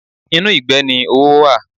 Inú ìgbẹ́ ni owó wà.